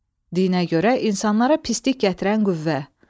Dinə görə insanlara pislik gətirən qüvvə.